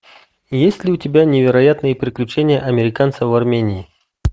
есть ли у тебя невероятные приключения американца в армении